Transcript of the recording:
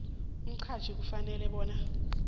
umqhatjhi ufanele bona